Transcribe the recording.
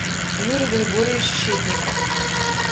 юрий григорьевич щитников